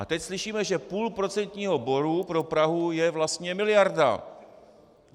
A teď slyšíme, že půl procentního bodu pro Prahu je vlastně miliarda.